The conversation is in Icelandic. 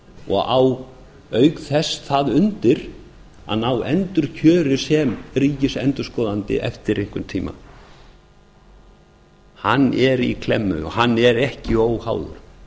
og á auk þess það undir að ná endurkjöri sem ríkisendurskoðandi eftir einhvern tíma hann er í klemmu og hann er ekki óháður